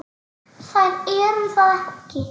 Þær eru það ekki.